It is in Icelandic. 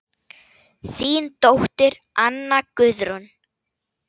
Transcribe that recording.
Þín dóttir, Anna Guðrún.